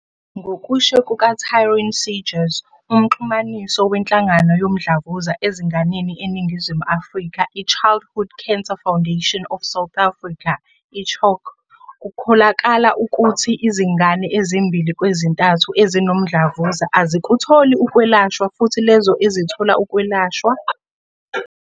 Ngokusho kuka-Taryn Seegers, uMxhumanisi weNhlangano Yomdlavuza Ezinganeni eNingizimu Afrika i-Childhood Cancer Foundation of South Africa, i-CHOC, kukholakala ukuthi izingane ezimbili kwezintathu ezinomdlavuza azikutholi ukwelashwa futhi lezo ezithola ukwelashwa.